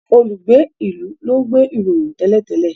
olùgbé ilú lón nbe ìròyìn télètélè